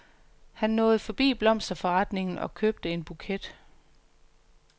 Han nåede forbi blomsterforretningen og købte en buket.